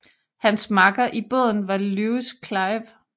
Hans makker i båden var Lewis Clive